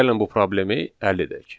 Gəlin bu problemi həll edək.